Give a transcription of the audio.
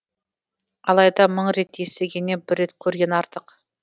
алайда мың рет естігеннен бір рет көрген артық